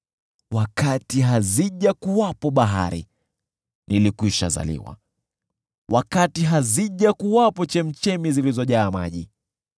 Wakati hazijakuwepo bahari, nilikwishazaliwa, wakati hazijakuwepo chemchemi zilizojaa maji;